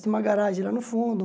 Tinha uma garagem lá no fundo.